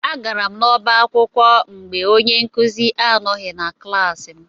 Agara m n'ọba akwụkwọ mgbe onye nkụzi anoghi na klaasị m.